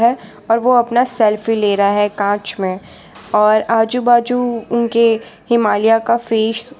और वो अपना सेल्फी ले रहा है कांच में और आजू बाजू उनके हिमालया का फेस वा--